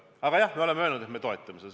Aga jah, me oleme öelnud, et me toetame seda.